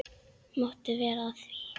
Máttu vera að því?